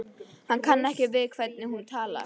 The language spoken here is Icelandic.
Hann kann ekki við hvernig hún talar.